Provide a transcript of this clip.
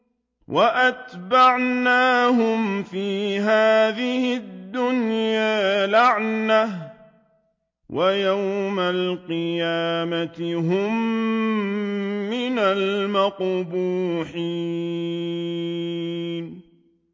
وَأَتْبَعْنَاهُمْ فِي هَٰذِهِ الدُّنْيَا لَعْنَةً ۖ وَيَوْمَ الْقِيَامَةِ هُم مِّنَ الْمَقْبُوحِينَ